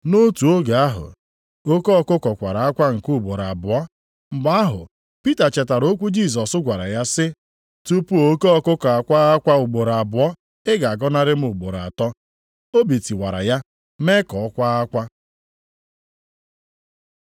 Nʼotu oge ahụ, oke ọkụkụ kwara akwa nke ugboro abụọ. Mgbe ahụ Pita chetara okwu Jisọs gwara ya sị, “Tupu oke ọkụkụ akwaa akwa ugboro abụọ, ị ga-agọnarị m ugboro atọ.” Obi tiwara ya mee ka ọ kwaa akwa.